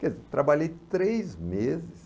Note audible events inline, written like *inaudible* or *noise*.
*unintelligible* trabalhei três meses,